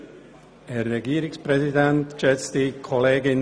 Für die FDP hat Herr Grossrat Vogt das Wort.